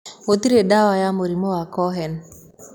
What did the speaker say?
Gũtirĩ ndawa ya mũrimũ wa Cohen.